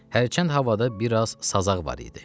Hərçənd havada biraz sazaq var idi.